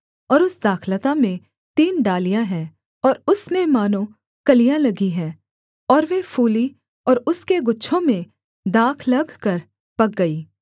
और उस दाखलता में तीन डालियाँ हैं और उसमें मानो कलियाँ लगीं हैं और वे फूलीं और उसके गुच्छों में दाख लगकर पक गई